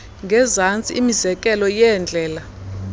ngezantsi imizekelo yeendlela